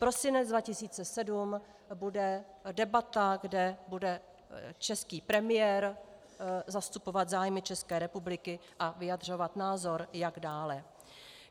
Prosinec 2017 bude debata, kde bude český premiér zastupovat zájmy České republiky a vyjadřovat názor, jak dále.